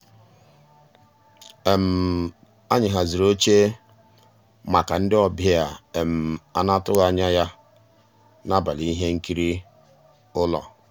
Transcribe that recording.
um ànyị́ hàzírí óché màkà ndị́ ọ̀bịá á ná-àtụ́ghị́ ànyá yá n'àbàlí íhé nkírí ụ́lọ́.